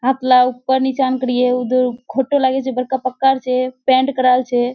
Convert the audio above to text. हतला ऊपर नीचान कोरये घोरटा लागे छे पक्कार छे पैंट कराल छे।